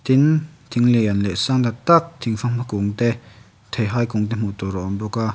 tin thing lian leh sang tak tak thingfanghma kung te theihai kung te hmuh tur a awm bawk a.